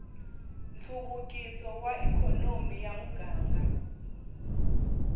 nhluvukiso wa ikhonomi ya muganga